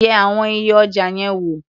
Yẹ àwọn iye ọjà yẹn wò.